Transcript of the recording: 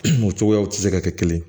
O cogoyaw tɛ se ka kɛ kelen ye